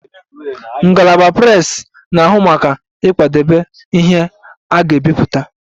Ngalaba Prepress na-ahụ maka ịkwadebe ihe ndị a ga-ebipụta